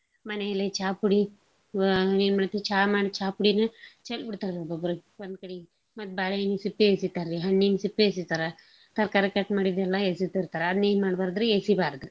ಮನೇಲೆ ಚಾ ಪುಡಿ ಆ ಏನ್ ಮಾಡ್ತೇವಿ ಚಾ ಮಾಡ್~ ಚಾ ಪುಡಿನ ಚೆಲ್ಬಿಡ್ತೇವ್ರಿ ಒಬ್ಬೊಬ್ರು ಒಂದ್ಕಡೀಗ್. ಮತ್ ಬಾಳೇಹಣ್ ಸಿಪ್ಪೆ ಎಸೀತಾರ್ರಿ, ಹಣ್ಣಿನ್ ಸಿಪ್ಪೆ ಎಸಿತಾರ, ತರ್ಕಾರಿ cut ಮಾಡಿದ್ನೆಲ್ಲಾ ಎಸೀತಿರ್ತಾರ ಅದನ್ನೇನ್ ಮಾಡ್ಬಾರ್ದ್ರೀ ಎಸೀಬಾರ್ದ್ರಿ.